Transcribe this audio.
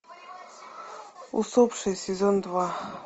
усопшие сезон два